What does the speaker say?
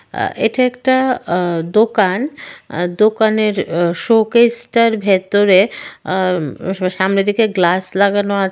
আ এটা একটা আ দোকান দোকানের অ শোকেসটার -টার ভেতরে আ স-সামনের দিকে গ্লাস লাগানো আ --